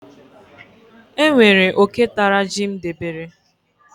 E nwere oke tara ji m debere.